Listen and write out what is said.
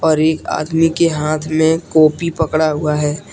और एक आदमी के हाथ में कॉपी पकड़ा हुआ है।